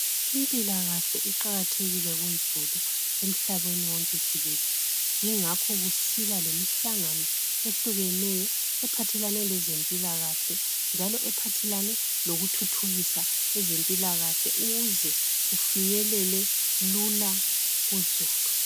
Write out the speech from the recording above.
Impilakahle iqakatheke kuzulu emhlabeni wonke jikelele. Yingakho kusiba lemihlangano ehlukeneyo ephathelane lezempilakahle, njalo ephathelane lokuzithuthukisa ukuze kufinyelele lula kuzulu.